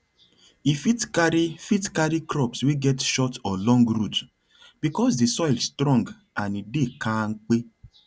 e fit carry fit carry crops wey get short or long root because the soil strong and e dey kampe